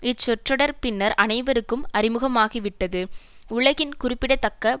இச்சொற்றொடர் பின்னர் அனைவருக்கும் அறிமுகமாகிவிட்டது உலகின் குறிப்பிடத்தக்க